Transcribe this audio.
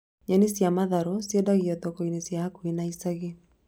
Nyeni cia matharũ ciendagio thoko-inĩ ciĩ hakuhĩ na ĩcagi